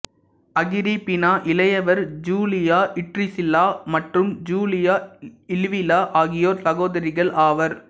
Agrippina இளையவர் Julia Drusilla மற்றும் Julia Livilla ஆகியோர் சகோதரிகள் ஆவர்